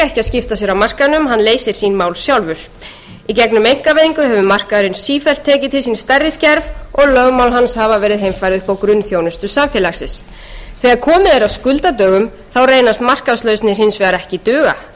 að skipta sér af markaðnum hann leysir sín mál sjálfur í gegnum einkavæðingu hefur markaðurinn sífellt tekið til sín stærri skerf og lögmál hans hafa verið heimfærð upp á grunnþjónustu samfélagsins þegar komið er að skuldadögum reynast markaðslausnir hins vegar ekki duga þær